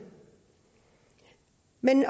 men